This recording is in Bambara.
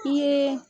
I ye